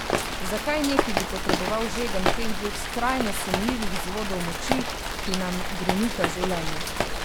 Zakaj neki bi potreboval žegen teh dveh skrajno sumljivih vzvodov moči, ki nam grenita življenje?